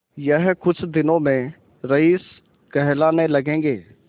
यह कुछ दिनों में रईस कहलाने लगेंगे